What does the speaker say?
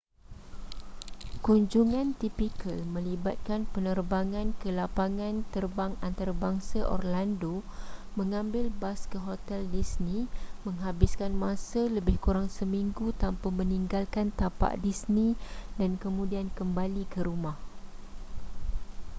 kunjungan tipikal melibatkan penerbangan ke lapangan terbang antarabangsa orlando mengambil bas ke hotel disney menghabiskan masa lebih kurang seminggu tanpa meninggalkan tapak disney dan kemudian kembali ke rumah